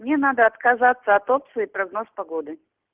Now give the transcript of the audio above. мне надо отказаться от опции прогноз погоды